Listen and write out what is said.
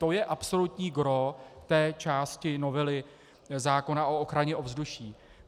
To je absolutní gros té části novely zákona o ochraně ovzduší.